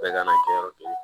Bɛɛ kan ka kɛ yɔrɔ kelen ye